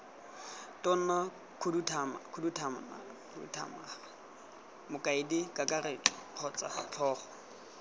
tona mokhuduthamaga mokaedikakaretso kgotsa tlhogo